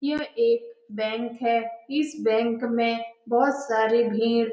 यह एक बैंक है । इस बैंक में बहुत सारी भीड़ --